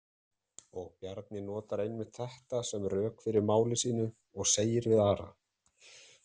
Og Bjarni notar einmitt þetta sem rök fyrir máli sínu og segir við Ara: